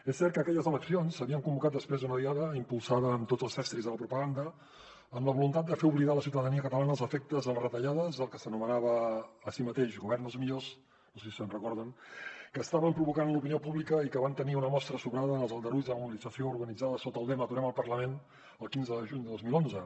és cert que aquelles eleccions s’havien convocat després d’una diada impulsada amb tots els estris de la propaganda amb la voluntat de fer oblidar a la ciutadania catalana els efectes de les retallades del que s’anomenava a si mateix govern dels millors no sé si se’n recorden que estaven provocant l’opinió pública i que en van tenir una mostra sobrada en els aldarulls de la mobilització organitzada sota el lema aturem el parlament el quinze de juny de dos mil onze